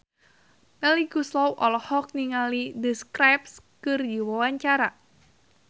Melly Goeslaw olohok ningali The Script keur diwawancara